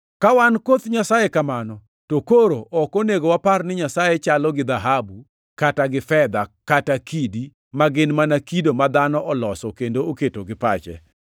“Ka wan koth Nyasaye kamano, to koro ok onego wapar ni Nyasaye chalo gi dhahabu kata gi fedha kata kidi, ma gin mana kido ma dhano oloso kendo oketo gi pache.